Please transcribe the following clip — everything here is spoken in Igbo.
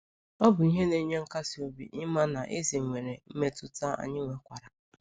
Ọ bụ ihe na-enye nkasi obi ịma na Eze nwere mmetụta anyị nwekwara!